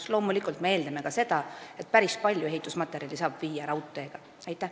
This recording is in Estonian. Aga loomulikult me eeldame ka seda, et päris palju ehitusmaterjali saab kohale viia mööda raudteed.